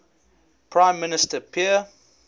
prime minister pierre